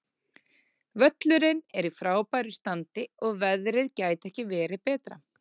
Völlurinn er í frábæru standi og veðrið gæti ekki verið betra.